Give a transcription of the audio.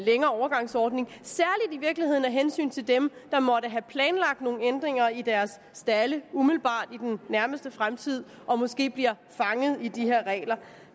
længere overgangsordning i virkeligheden særligt af hensyn til dem der måtte have planlagt nogle ændringer i deres stalde umiddelbart i den nærmeste fremtid og måske bliver fanget i de her regler